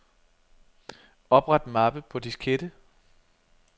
Opret mappe på diskette.